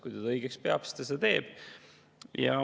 Kui ta seda õigeks peab, siis ta seda teeb.